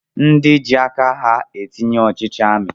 Ndi ji aka ha entinye ọchịchị amị